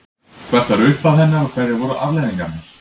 Hvert var upphaf hennar og hverjar voru afleiðingarnar?